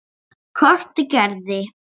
Hvort ég gerði.